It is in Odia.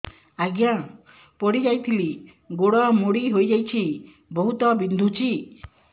ଆଜ୍ଞା ପଡିଯାଇଥିଲି ଗୋଡ଼ ମୋଡ଼ି ହାଇଯାଇଛି ବହୁତ ବିନ୍ଧୁଛି